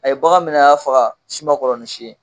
A ye bagan minɛ a y'a faga si man kɔrɔ ni si ye.